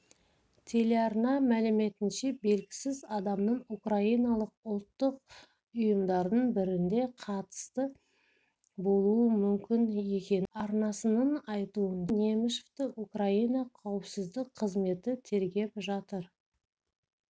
телеарна мәліметінше белгісіз адамның украиналық ұлттық ұйымдардың біріне қатысы болуы мүмкін екені анықталды арнасының айтуынша немышевті украина қауіпсіздік қызметі тергеп жатыр